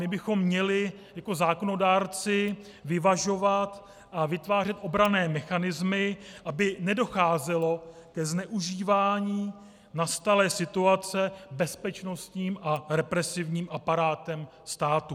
My bychom měli jako zákonodárci vyvažovat a vytvářet obranné mechanismy, aby nedocházelo ke zneužívání nastalé situace bezpečnostním a represivním aparátem státu.